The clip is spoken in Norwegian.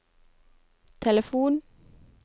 telefon